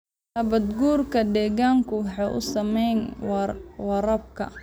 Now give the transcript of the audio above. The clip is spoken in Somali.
Nabaad-guurka deegaanku wuxuu saameeyaa waraabka.